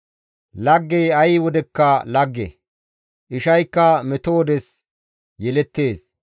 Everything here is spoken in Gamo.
Laggey ay wodekka lagge; ishaykka meto wodes yelettees.